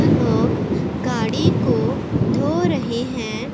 लोग गाड़ी को धो रहे हैं।